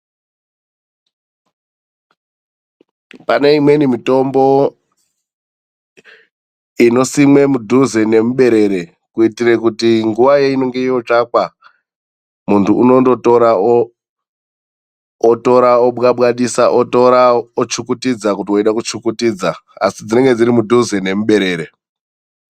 Pane imweni mitombo inosimwe mudhuze nemuberere, kuitira kuti nguwa yeinenge yotsvakwa, munhu unondotora otora obwabwadisa, otora ochukutidza kuti weida kuchukutidza. Asi dzinenge dziri mudhuze nemuberere.